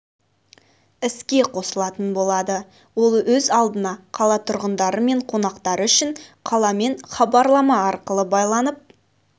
іске қосылатын болады ол өз алдына қала тұрғындары мен қонақтары үшін қаламен хабарлама арқылы байланып